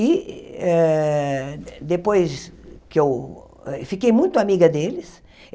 E eh depois que eu... Fiquei muito amiga deles.